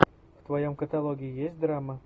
в твоем каталоге есть драма